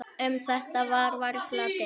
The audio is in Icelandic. Um þetta er varla deilt.